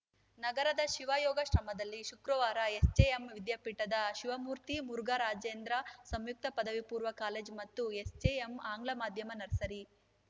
ನಗರದ ಶಿವಯೋಗಾಶ್ರಮದಲ್ಲಿ ಶುಕ್ರವಾರ ಎಸ್‌ಜೆಎಂ ವಿದ್ಯಾಪೀಠದ ಶಿವಮೂರ್ತಿಮುರುಘರಾಜೇಂದ್ರ ಸಂಯುಕ್ತ ಪದವಿ ಪೂರ್ವ ಕಾಲೇಜು ಮತ್ತು ಎಸ್‌ಜೆಎಂ ಆಂಗ್ಲ ಮಾಧ್ಯಮ ನರ್ಸರಿ